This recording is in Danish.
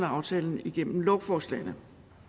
aftalen igennem lovforslagene